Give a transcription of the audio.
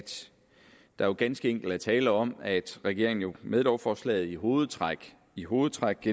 der ganske enkelt er tale om at regeringen med lovforslaget i hovedtræk i hovedtræk